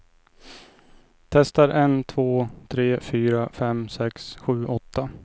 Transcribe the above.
Testar en två tre fyra fem sex sju åtta.